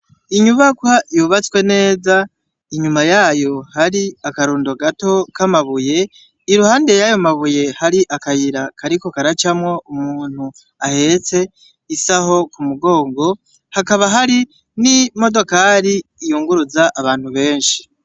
Inyubakwa yubatswe neza inyuma yayo hari akarundo gato k'amabuye, iruhande y'ayo mabuye hari akayira kariko karacamwo umuntu ahetse isaho mu mugongo, hakaba hari n'imodokari yunguruza abantu benshi.